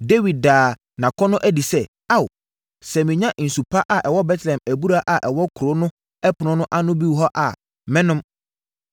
Dawid daa nʼakɔnnɔ adi sɛ, “Ao, sɛ menya nsu pa a ɛwɔ Betlehem abura a ɛwɔ kuro no ɛpono no ano hɔ no bi a, mɛnom.”